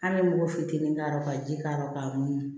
An bɛ mugu fitinin k'ala ka ji k'a rɔ ka munu